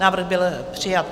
Návrh byl přijat.